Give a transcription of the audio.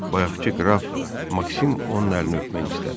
Bayaqkı qraf Maksim onun əlini öpmək istədi.